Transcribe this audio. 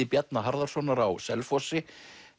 Bjarna Harðarsonar á Selfossi